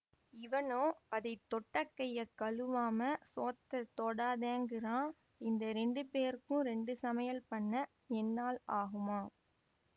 இவனோ அதை தொட்ட கையை களுவாம சோத்தெத் தொடாதேங்கிறான்இந்த ரெண்டு பேருக்கும் ரெண்டு சமையல் பண்ண என்னால் ஆகுமா